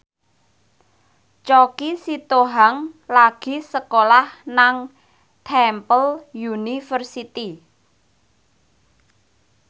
Choky Sitohang lagi sekolah nang Temple University